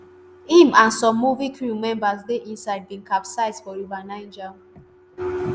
im and some movie crew members dey inside bin capsize for river niger.